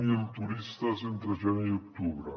zero turistes entre gener i octubre